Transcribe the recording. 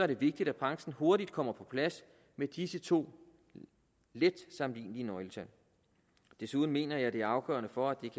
det vigtigt at branchen hurtigt kommer på plads med disse to let sammenlignelige nøgletal desuden mener jeg at det er afgørende for at det